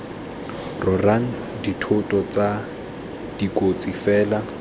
rorang dithoto tse dikotsi fela